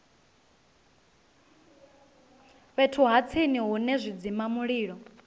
fhethu ha tsini hune zwidzimamulilo